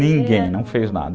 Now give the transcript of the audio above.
Ninguém, não fez nada.